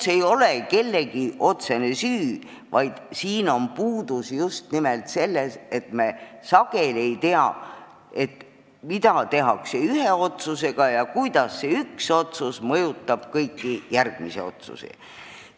See ei ole kellegi otsene süü, see ei ole mitte midagi muud kui see, et me sageli ei tea, mida tehakse ühe otsuse alusel ja kuidas see üks otsus mõjutab teisi otsuseid.